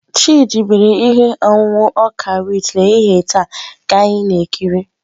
Chidị mere ihe ọṅụṅụ ọka wit n'ehihie taa ka anyị na-ekiri.